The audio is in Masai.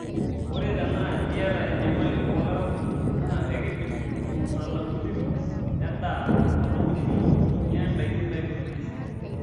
Ore tenaa iyata enyamali oolaraikuj naa enkidim olmutaalamui lino lendaa atomitiki inya ndaiki naitopirisho.